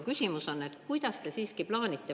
Aga küsimus on, kuidas te siiski plaanite.